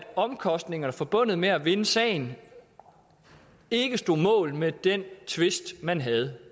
omkostningerne forbundet med at vinde sagen ikke stod mål med den tvist man havde